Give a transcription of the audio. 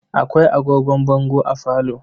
Akwai agogon bango a falo.